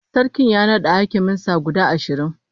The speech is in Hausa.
Sarkin ya nada hakiman sa guda ashirin